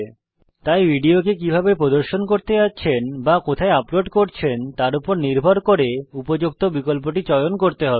তাই ভিডিও কে কীভাবে প্রদর্শন করতে যাচ্ছেন অথবা কোথায় আপলোড করছেন তার উপর নির্ভর করে উপযুক্ত বিকল্পটি চয়ন করতে হবে